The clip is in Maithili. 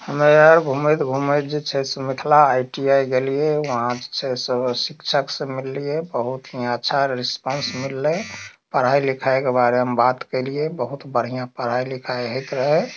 हमें आर घुमएत घुमएत जे छै से मिथला आई.टी.आई. गेलिए वहां से सब शिक्षक से मिललिए बहुत ही अच्छा रिस्पांस मिलले पढ़ाई लिखाए के बारे में बात केलिए बहुत बढ़िया पढ़ाय लिखाए हेय रहे।